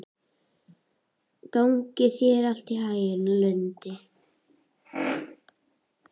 Gangi þér allt í haginn, Lundi.